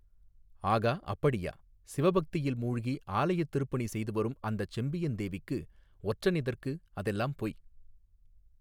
ஆகா அப்படியா சிவபக்தியில் மூழ்கி ஆலயத் திருப்பணி செய்து வரும் அந்தச் செம்பியன் தேவிக்கு ஒற்றன் எதற்கு அதெல்லாம் பொய்.